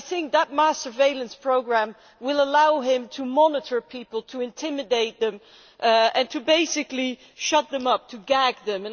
That mass surveillance programme will allow him to monitor people, to intimidate them and to basically shut them up, to gag them.